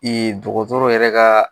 dɔgɔtɔrɔw yɛrɛ ka.